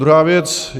Druhá věc.